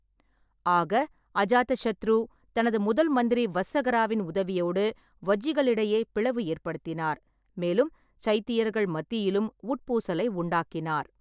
ஆக, அஜாதசத்ரு தனது முதல்மந்திரி வஸ்ஸகராவின் உதவியோடு வஜ்ஜிகளிடையே பிளவு ஏற்படுத்தினார், மேலும் சைத்தியர்கள் மத்தியிலும் உட்பூசலை உண்டாக்கினார்.